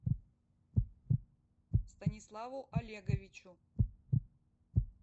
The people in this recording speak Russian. станиславу олеговичу